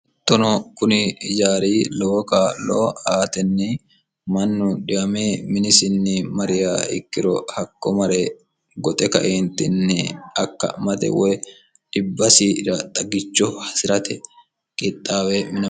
ittono kuni jaari lowo kaaloo aatinni mannu dhiame minisinni mariya ikkiro hakko mare goxe kaientinni akka mate woy dhibbasir xagicho hasi'rate qiixxaawe